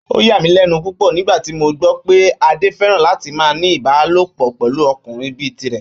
Ó yà mí lẹ́nu púpọ̀ nígbà tí mo gbọ́ pé Adé fẹ́ràn láti máa ní Ìbálòpọ̀ pẹ̀lú ọkùnrin bíi tirẹ̀